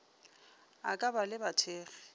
a ka ba le bathekgi